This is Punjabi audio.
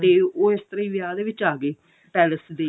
ਤੇ ਉਹ ਇਸ ਤਰ੍ਹਾਂ ਹੀ ਵਿਆਹ ਦੇ ਵਿੱਚ ਆ ਗਏ palace ਦੇ